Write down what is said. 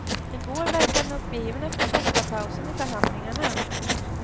I går verkade han uppgiven efter första pausen i förhandlingarna.